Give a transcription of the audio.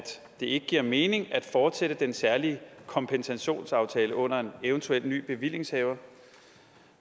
det ikke giver mening at fortsætte den særlige kompensationsaftale under en eventuel ny bevillingshaver